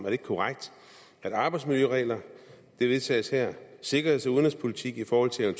er korrekt at arbejdsmiljøreglerne vedtages her at sikkerheds og udenrigspolitikken i forhold til en